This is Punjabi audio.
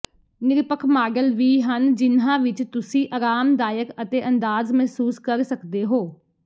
ਨਿਰਪੱਖ ਮਾਡਲ ਵੀ ਹਨ ਜਿਨ੍ਹਾਂ ਵਿਚ ਤੁਸੀਂ ਆਰਾਮਦਾਇਕ ਅਤੇ ਅੰਦਾਜ਼ ਮਹਿਸੂਸ ਕਰ ਸਕਦੇ ਹੋ